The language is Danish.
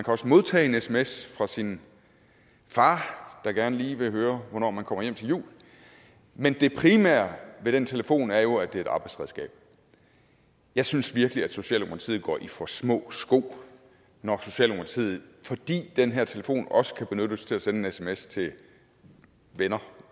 også modtage en sms fra sin far der gerne lige vil høre hvornår man kommer hjem til jul men det primære ved den telefon er jo at det er et arbejdsredskab jeg synes virkelig at socialdemokratiet går i for små sko når socialdemokratiet fordi den her telefon også kan benyttes til at sende en sms til venner